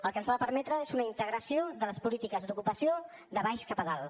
el que ens ha de permetre és una integració de les polítiques d’ocupació de baix cap a dalt